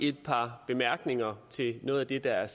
et par bemærkninger til noget af det der er